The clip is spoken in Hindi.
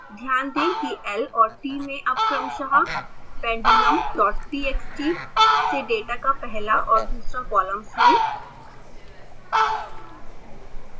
ध्यान दें कि l और t में अब क्रमशः pendulumtxt से डेटा का पहला और दूसरा कॉलम्स है